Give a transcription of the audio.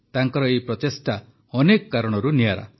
ତାଙ୍କର ଏହି ପ୍ରଚେଷ୍ଟା ଅନେକ କାରଣରୁ ନିଆରା